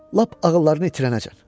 Lap ağıllarını itirənəcən.